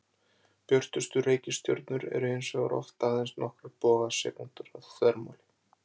Björtustu reikistjörnurnar eru hins vegar oft aðeins nokkrar bogasekúndur að þvermáli.